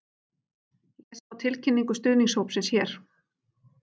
Lesa má tilkynningu stuðningshópsins hér